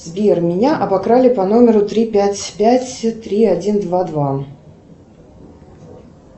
сбер меня обокрали по номеру три пять пять три один два два